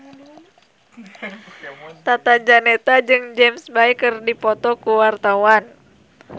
Tata Janeta jeung James Bay keur dipoto ku wartawan